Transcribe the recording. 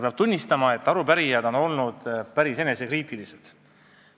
Peab tunnistama, et arupärijad on olnud päris enesekriitilised.